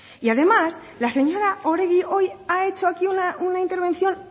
y además la señora oregi hoy ha hecho aquí una intervención